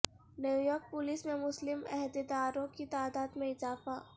New York police میں مسلم عہدیداروں کی تعداد میں اضافہ